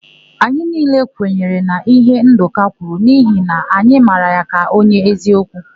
Anyị niile kwenyere na íhé Ndụka kwuru n'ihi na anyị mara ya ka onye eziokwu.